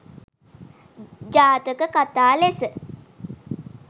ජාතක කථා ලෙස